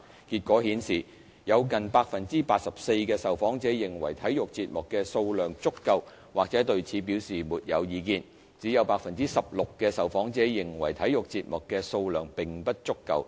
結果顯示，有近 84% 的受訪者認為體育節目的數量足夠或對此表示沒有意見，只有 16% 的受訪者認為體育節目的數量並不足夠。